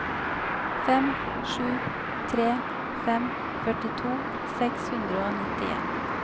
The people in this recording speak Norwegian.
fem sju tre fem førtito seks hundre og nittien